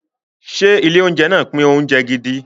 Ṣé ilé-oúnjẹ náà pín oúnjẹ gidi?